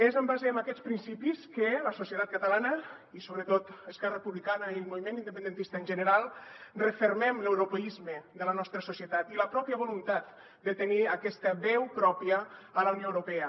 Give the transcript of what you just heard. és en base a aquests principis que la societat catalana i sobretot esquerra republicana i el moviment independentista en general refermem l’europeisme de la nostra societat i la pròpia voluntat de tenir aquesta veu pròpia a la unió europea